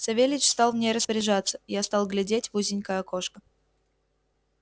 савельич стал в ней распоряжаться я стал глядеть в узенькое окошко